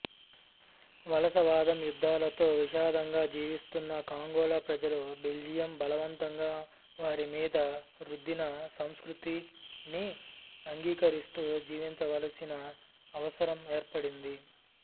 వలసవాదం యుధ్ధాలతో విషాదంగా జివిస్తున్న కాంగోల ప్రజలు బెల్జియం బలవంతంగా వారిమీద రుద్దిన సంస్కృతిని అంగీకరిస్తూ జీవించవలసిన అవసరం ఏర్పడింది